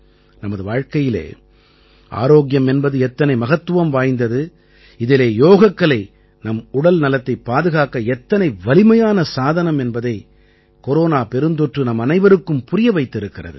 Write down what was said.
நமது வாழ்க்கையிலே ஆரோக்கியம் என்பது எத்தனை மகத்துவம் வாய்ந்தது இதிலே யோகக்கலை நம் உடல் நலத்தைப் பாதுகாக்க எத்தனை வலிமையான சாதனம் என்பதை கொரோனா பெருந்தொற்று நம்மனைவருக்கும் புரிய வைத்திருக்கிறது